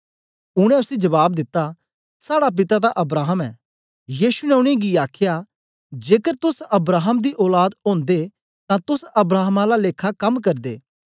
उनै उसी जबाब दिता साड़ा पिता तां अब्राहम ऐ यीशु ने उनेंगी आखया जेकर तोस अब्राहम दी औलाद ओदे तां तोस अब्राहम आला लेखा कम करदे